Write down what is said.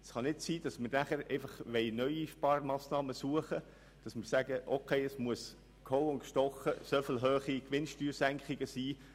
Es kann nicht sein, dass wir nachher einfach neue Sparmassnahmen suchen und sagen, es müsse so oder so dermassen hohe Gewinnsteuersenkungen geben.